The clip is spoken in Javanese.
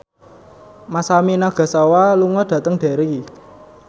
Masami Nagasawa lunga dhateng Derry